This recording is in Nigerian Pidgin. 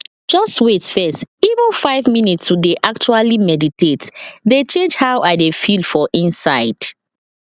just wait first even five minutes to dey actually meditate dey change how i dey feel for inside